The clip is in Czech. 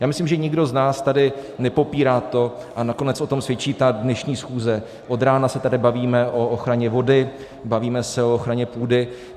Já myslím, že nikdo z nás tady nepopírá to, a nakonec o tom svědčí ta dnešní schůze, od rána se tady bavíme o ochraně vody, bavíme se o ochraně půdy.